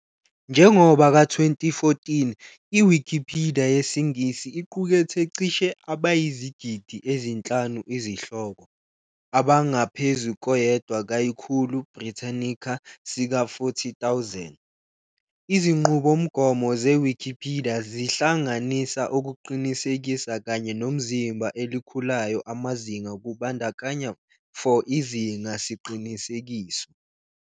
Njengoba ka 2014, iwikipidiya yesiNgisi iqukethe cishe abayizigidi ezinhlanu izihloko, abangaphezu koyedwa kayikhulu Britannica sika 40,000. izinqubomgomo zeWikipidiya zihlanganisa ukuqinisekisa kanye nomzimba elikhulayo amazinga kubandakanya for izinga siqinisekiso.